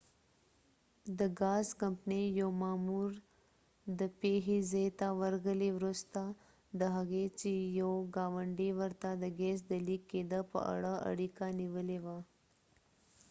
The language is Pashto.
د ګاز کمپنی یو مامو ر د پیښی ځای ته ورغلی وروسته د هغې چې یو ګاونډی ورته د ګیس د لیک کېده په اړه اړیکه نیولی وه